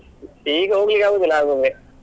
ಈಗ ಹೋಗ್ಲಿಕ್ಕೆ ಆಗುದಿಲ್ಲ Agumbe .